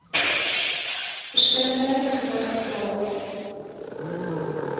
verskillende gewig dra